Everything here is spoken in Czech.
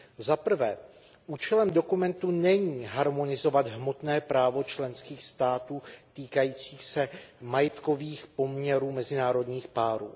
Zaprvé účelem dokumentu není harmonizovat hmotné právo členských států týkající se majetkových poměrů mezinárodních párů.